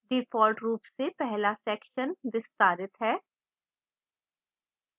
default रूप से पहला section विस्तारित है